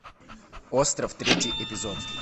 остров третий эпизод